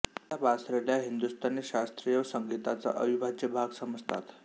त्या बासरीला हिंदुस्तानी शास्त्रीय संगीताचा अविभाज्य भाग समजतात